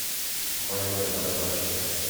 маленькая барабанщица